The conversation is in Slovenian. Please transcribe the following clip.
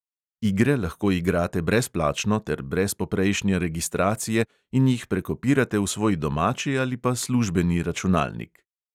Igre lahko igrate brezplačno ter brez poprejšnje registracije in jih prekopirate v svoj domači ali pa službeni računalnik.